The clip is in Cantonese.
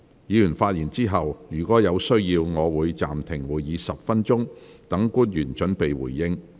議員發言後，若有需要，我會暫停會議10分鐘，讓官員準備回應。